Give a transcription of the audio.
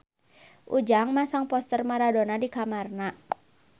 Ujang masang poster Maradona di kamarna